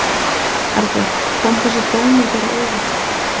Erla: Kom þessi dómur þér á óvart?